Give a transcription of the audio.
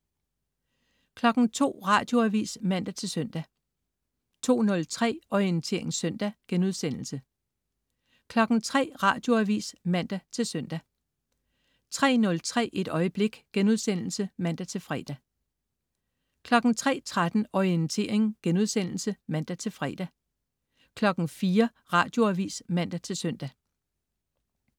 02.00 Radioavis (man-søn) 02.03 Orientering søndag* 03.00 Radioavis (man-søn) 03.03 Et øjeblik* (man-fre) 03.13 Orientering* (man-fre) 04.00 Radioavis (man-søn)